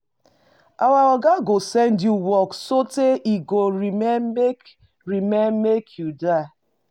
Our oga go send you work sotee e go remain make remain make you die.